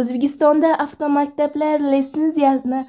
O‘zbekistonda avtomaktablar litsenziyani